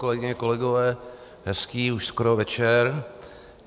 Kolegyně, kolegové, hezký už skoro večer.